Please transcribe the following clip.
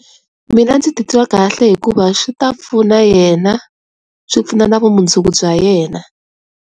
Mina ndzi titwa kahle hikuva swi ta pfuna yena swi pfuna na vumundzuku bya yena.